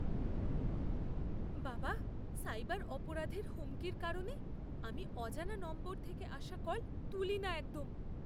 বাবাঃ, সাইবার অপরাধের হুমকির কারণে আমি অজানা নম্বর থেকে আসা কল তুলি না একদম।